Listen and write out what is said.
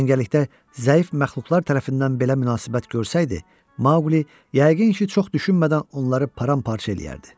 Cəngəllikdə zəif məxluqlar tərəfindən belə münasibət görsəydi, Maquli yəqin ki, çox düşünmədən onları param-parça eləyərdi.